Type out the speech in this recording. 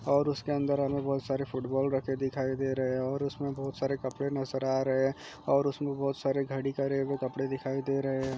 और उसके अन्दर हमे बहुत सारे फूटबॉल रखे दिखाई दे रहे है और उसमें बहुत सारे कपड़े नजर आ रहे है और उसमें बहुत सारे घड़ी कर रहे वो कपड़े दिखाई दे रहे है।